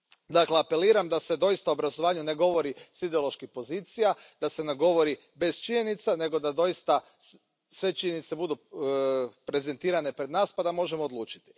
Dakle, apeliram da se doista o obrazovanju ne govori s ideoloških pozicija, da se ne govori bez činjenica nego da doista sve činjenice budu prezentirane pred nas pa da možemo odlučiti.